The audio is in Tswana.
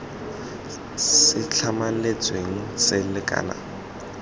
se tlametsweng se sa lekana